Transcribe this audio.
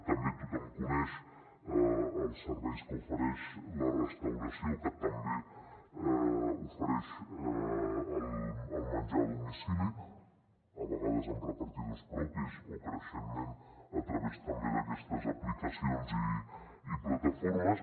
també tothom coneix els serveis que ofereix la restauració que també ofereix el menjar a domicili a vegades amb repartidors propis o creixentment a través també d’aquestes aplicacions i plataformes